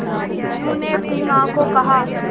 मीनू ने अपनी मां को कहा